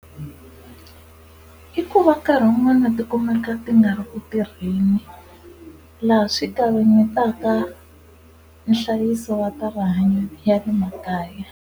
I ku va nkarhi wun'wana ti kumeka ti nga ri ku tirheni laha swi kavanyetaka nhlayiso wa ta rihanyo wa le makaya.